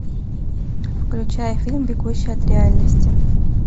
включай фильм бегущий от реальности